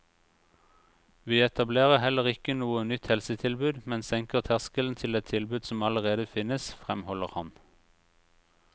Vi etablerer heller ikke noe nytt helsetilbud, men senker terskelen til et tilbud som allerede finnes, fremholder han.